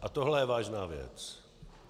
A tohle je vážná věc.